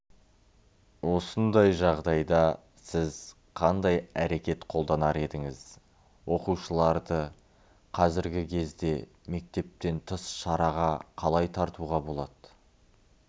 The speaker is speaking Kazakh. осындай жағдайда сіз қандай әрекет қолданар едіңіз оқушыларды қазіргі кезде мектептен тыс шараға қалай тартуға болады